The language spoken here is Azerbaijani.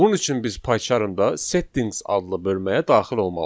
Bunun üçün biz Paycharmda settings adlı bölməyə daxil olmalıyıq.